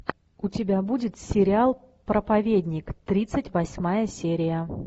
у тебя будет сериал проповедник тридцать восьмая серия